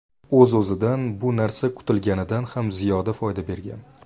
O‘z-o‘zidan bu narsa kutilganidan ham ziyoda foyda bergan.